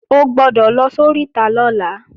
O gbọ́dọ̀ lọ sóríta lọ́la